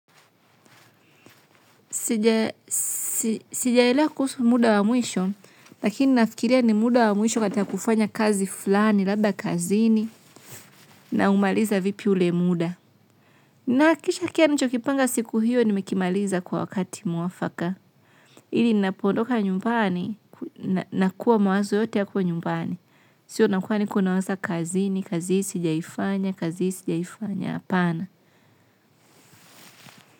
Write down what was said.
Sijailea kuhusu muda wa mwisho, lakini nafikiria ni muda wa mwisho katika kufanya kazi fulani, labda kazini, na umaliza vipi ulemuda. Nahakisha kia nichokipanga siku hiyo ni mekimaliza kwa wakati mwafaka. Ili napondoka nyumbani, nakua mawazo yote yako nyumbani. Sio nakua niko na waza kazini, kazi hiisi, jiaifanya, kazi hii sjiaifanya, hapana.